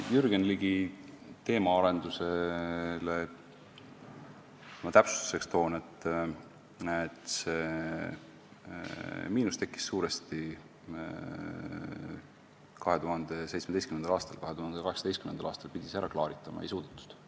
Jürgen Ligi teemaarenduse täpsustuseks ütlen ma, et see miinus tekkis suuresti 2017. aastal, 2018. aastal pidi see ära klaaritama, aga ei suudetud.